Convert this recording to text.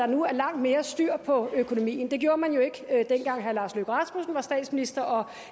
nu er langt mere styr på økonomien det gjorde man jo ikke dengang herre lars løkke rasmussen var statsminister og